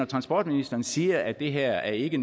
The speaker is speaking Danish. transportministeren siger at det her ikke